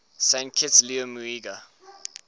saint kitts liamuiga